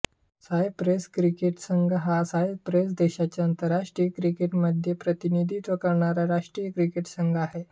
Cyprus cricket संघ हा Cyprus देशाचे आंतरराष्ट्रीय क्रिकेटमध्ये प्रतिनिधित्व करणारा राष्ट्रीय क्रिकेट संघ आहे